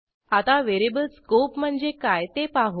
आता variable scope म्हणजे काय ते पाहू